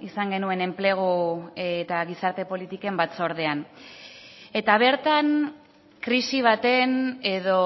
izan genuen enplegu eta gizarte politiken batzordean eta bertan krisi baten edo